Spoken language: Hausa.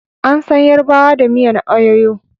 An san yarbawa da miyan ayoyo